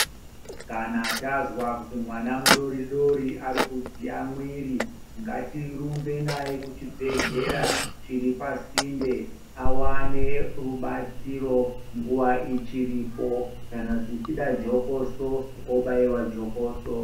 Kana tazwa kuti mwana mudori dori ari kudziya mwiri, ngatirumbe naye kuchibhedhlera chiri pasinde awane rubatsiro nguwa ichiripo kana zvichida jokoso obaiwa jokoso.